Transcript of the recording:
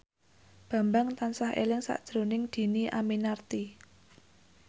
Bambang tansah eling sakjroning Dhini Aminarti